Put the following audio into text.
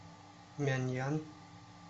мяньян